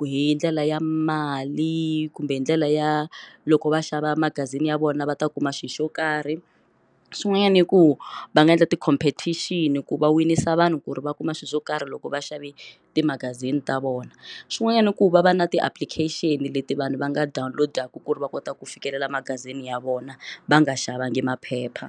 hi ndlela ya mali kumbe hi ndlela ya loko va xava magazini ya vona va ta kuma xilo xo karhi swin'wanyana i ku va nga endla ti competition ku va winisa vanhu ku ri va kuma swilo swo karhi loko va xave timagazini ta vona swin'wanyana i ku va va na ti application leti vanhu va nga dawunilodaku ku ri va kota ku fikelela magazini ya vona va nga xavanga maphepha.